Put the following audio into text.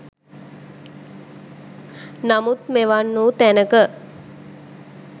නමුත් මෙවන් වූ තැනක